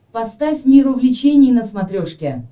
поставь мир увлечений на смотрешке